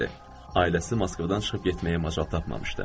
Ailəsi Moskvadan çıxıb getməyə macal tapmamışdı.